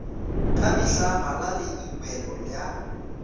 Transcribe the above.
ka mehla bala leibole ya